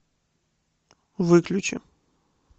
выключи